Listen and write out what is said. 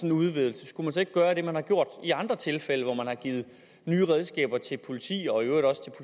en udvidelse skulle gøre det man har gjort i andre tilfælde hvor man har givet nye redskaber til politiet og i øvrigt også til